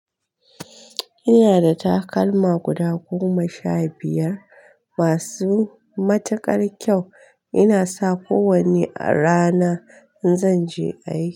Ina da takalma guda goma sha biyar masu matuƙar kyau. Ina sa kowanne a rana in zan je aiki.